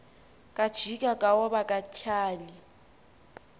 kajiba kaoba katyhali